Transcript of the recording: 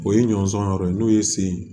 O ye ɲɔnsɔn yɔrɔ ye n'o ye sen